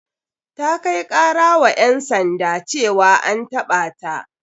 Ta kai kara wa ƴan sanda ceawa an taɓa ta.